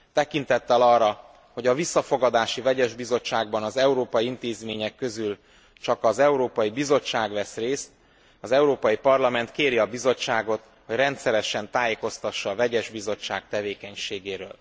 Tekintettel arra, hogy a visszafogadási vegyes bizottságban az európai intézmények közül csak az Európai Bizottság vesz részt, az Európai Parlament kéri a Bizottságot, hogy rendszeresen tájékoztassa a vegyes bizottság tevékenységéről.